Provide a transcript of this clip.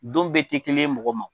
Don bɛɛ ti kelen ye mɔgɔ ma.